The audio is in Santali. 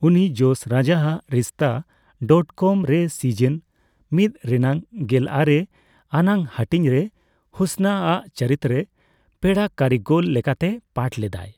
ᱩᱱᱤ ᱡᱚᱥ ᱨᱟᱡᱟᱜ ᱨᱤᱥᱛᱟ ᱰᱚᱴᱠᱚᱢᱼᱨᱮ ᱥᱤᱡᱤᱱᱼᱢᱤᱛ ᱨᱮᱱᱟᱜ ᱜᱮᱞᱟᱨᱮ ᱟᱱᱟᱜ ᱦᱟᱹᱴᱤᱧᱨᱮ ᱦᱩᱥᱱᱟ ᱟᱜ ᱪᱩᱨᱤᱛᱨᱮ ᱯᱮᱲᱟ ᱠᱟᱹᱨᱤᱜᱚᱞ ᱞᱮᱠᱟᱛᱮᱭ ᱯᱟᱴᱷ ᱞᱮᱫᱟᱭ ᱾